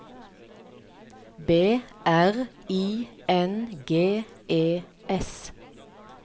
B R I N G E S